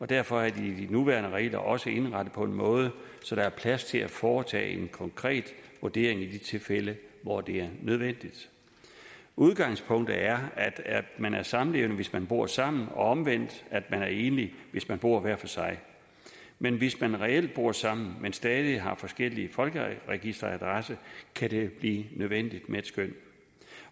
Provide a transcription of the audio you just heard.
derfor er de nuværende regler også indrettet på en måde så der er plads til at foretage en konkret vurdering i de tilfælde hvor det er nødvendigt udgangspunktet er at man er samlevende hvis man bor sammen og omvendt at man er enlig hvis man bor hver for sig men hvis man reelt bor sammen men stadig har forskellig folkeregisteradresse kan det blive nødvendigt med et skøn